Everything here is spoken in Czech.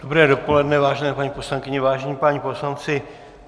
Dobré dopoledne, vážené paní poslankyně, vážení páni poslanci.